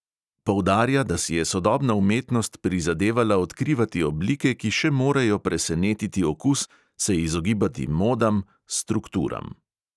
Poudarja, da si je sodobna umetnost prizadevala odkrivati oblike, ki še morejo presenetiti okus, se izogibati modam, strukturam.